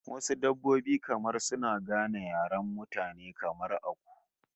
Wasu dabbobin kamar suna gane yaren mutane, kamar aku